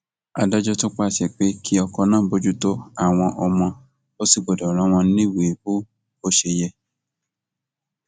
adájọ tún pàṣẹ pé kí ọkọ náà bójútó àwọn ọmọ ò sì gbọdọ rán wọn níwèé bó bó ṣe yẹ